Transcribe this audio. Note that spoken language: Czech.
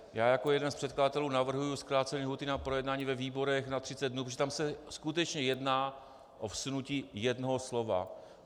Já jako jeden z předkladatelů navrhuji zkrácení lhůty na projednání ve výborech na 30 dnů, protože tam se skutečně jedná o vsunutí jednoho slova.